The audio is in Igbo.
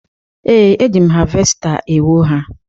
Ee, eji m havesta ewo ha